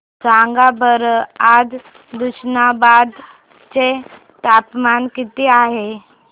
सांगा बरं आज तुष्णाबाद चे तापमान किती आहे